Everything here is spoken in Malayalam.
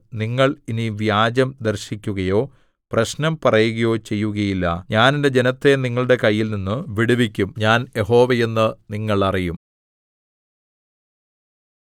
നിങ്ങൾ ഇനി വ്യാജം ദർശിക്കുകയോ പ്രശ്നം പറയുകയോ ചെയ്യുകയില്ല ഞാൻ എന്റെ ജനത്തെ നിങ്ങളുടെ കൈയിൽനിന്നു വിടുവിക്കും ഞാൻ യഹോവ എന്ന് നിങ്ങൾ അറിയും